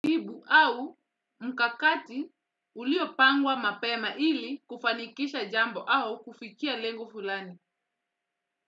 Jibu au mkakati ulio pangwa mapema ili kufanikisha jambo au kufikia lengo fulani.